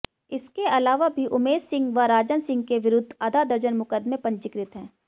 इसके अलावा भी उमेश सिंह व राजन सिंह के विरुद्ध आधा दर्जन मुकदमे पंजीकृत है